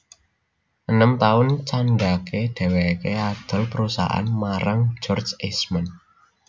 Enem taun candhake dheweke adol perusahaane marang George Eastman